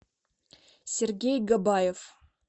сергей габаев